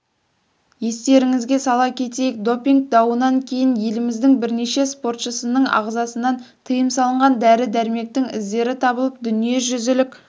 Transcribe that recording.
естеріңізге сала кетейік допинг дауынан кейін еліміздің бірнеше спортшысының ағзасынан тыйым салынған дәрі-дәрмектің іздері табылып дүниежүзілік